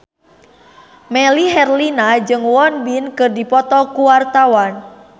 Melly Herlina jeung Won Bin keur dipoto ku wartawan